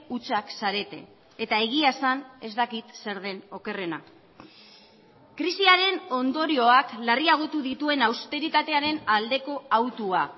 hutsak zarete eta egia esan ez dakit zer den okerrena krisiaren ondorioak larriagotu dituen austeritatearen aldeko hautua